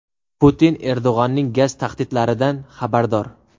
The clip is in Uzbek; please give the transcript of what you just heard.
Putin Erdo‘g‘onning gaz tahdidlaridan xabardor.